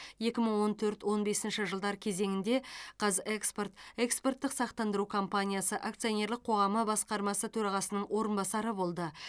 екі мың он төрт он бесінші жылдар кезеңінде қаз экспорт экспорттық сақтандыру компаниясы акционерлік қоғамы басқармасы төрағасының орынбасары болды